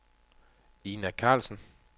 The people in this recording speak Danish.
Ina Carlsen